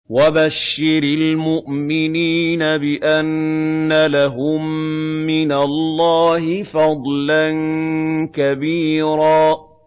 وَبَشِّرِ الْمُؤْمِنِينَ بِأَنَّ لَهُم مِّنَ اللَّهِ فَضْلًا كَبِيرًا